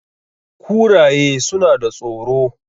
kuraye suna da tsoro